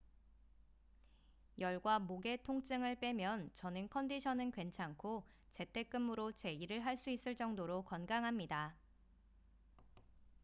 열과 목의 통증을 빼면 저는 컨디션은 괜찮고 재택 근무로 제 일을 할 수 있을 정도로 건강합니다